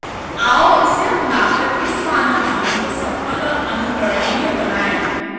आओ इसे अपनाकर इस मानव जीवन को सफल और अनुकरणीय बनाएं